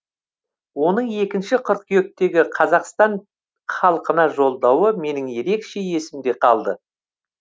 оның екінші қыркүйектегі қазақстан халқына жолдауы менің ерекше есімде қалды